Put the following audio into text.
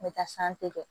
N bɛ taa kɛ